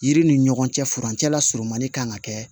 Yiri ni ɲɔgɔn cɛ furancɛ lasɔrɔ man di kan ka kɛ